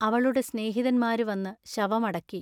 അവളുടെ സ്നേഹിതന്മാരു വന്നു ശവം അടക്കി.